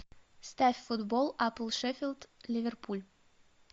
ставь футбол апл шеффилд ливерпуль